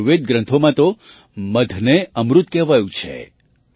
આયુર્વેદ ગ્રંથોમાં તો મધને અમૃત કહેવાયું છે